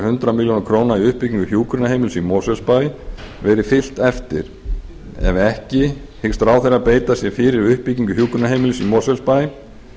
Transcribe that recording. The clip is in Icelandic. hundrað milljónir króna í uppbyggingu hjúkrunarheimilis í mosfellsbæ verið fylgt eftir ef ekki hyggst ráðherra beita sér fyrir uppbyggingu hjúkrunarheimilis í